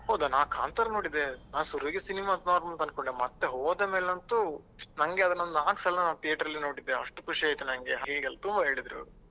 ಹೌದಾ ನಾ ಕಾಂತಾರ ನೋಡಿದೆ ನಾ ಶುರುವಿಗೆ cinema normal ಅಂತ ಅನ್ಕೊಂಡೆ ಮತ್ತೆ ಹೋದ ಮೇಲೆ ಅಂತು ನನ್ಗೆ ಅದನ್ನೊಂದು ನಾಕ್ ಸಲ theater ರಲ್ಲಿ ನೋಡಿದೆ ಅಷ್ಟು ಖುಷಿ ಆಯ್ತು ನನ್ಗೆ ಹಾಗೆಲ್ಲ ತುಂಬ ಹೇಳಿದ್ರು ಅವ್ರು.